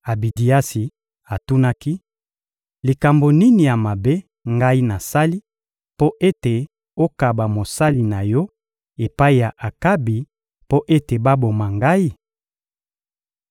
Abidiasi atunaki: — Likambo nini ya mabe ngai nasali mpo ete okaba mosali na yo epai ya Akabi mpo ete baboma ngai?